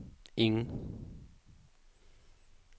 ingen